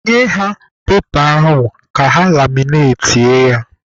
Nye ha pepa ahụ ka ha laminatie ya!